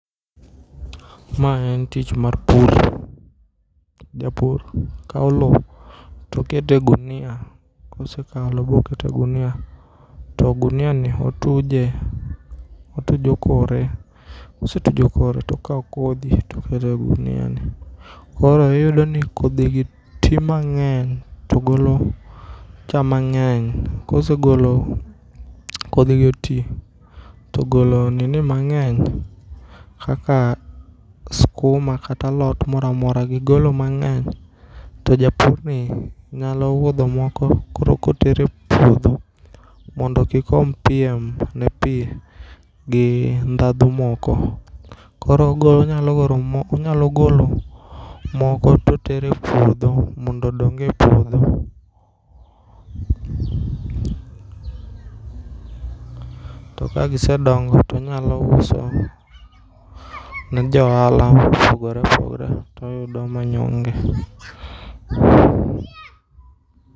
Ma en tich mar pur. Japur kao loo tokete gunia kosekao loo bokete gunia to gunia ni otuje, otujo kore kosetujo kore tokao kodhi tokete guniani. Koro iyudoni kodhigi tii mang'eny togolo cham mang'eny kosegolo, kodhigi otii togolo nini mang'eny kaka skuma kata alot moramora gigolo mang'eny to japurni nyalo wuodho moko koro kotere puodho mondo kik om piem ne pii gi ndhadhu moko. Koro onyalo golo moko totere puodho mondo odonge puodho. To ka gisedongo tonyalouso ne joala mopogore opogore toyudo manyonge.